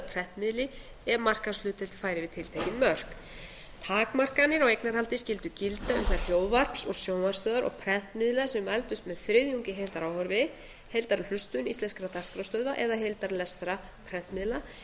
prentmiðli ef markaðshlutdeild færi yfir tiltekin mörk takmarkanir á eignarhaldi skyldu gilda um þær hljóðvarps og sjónvarpsstöðvar og prentmiðla sem mældust með þriðjungi af heildaráhorfi heildarhlustun íslenskra dagskrárstöðva eða heildarlestri prentmiðla